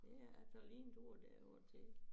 Ja jeg tager lige en tur derover til